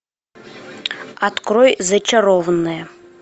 открой зачарованные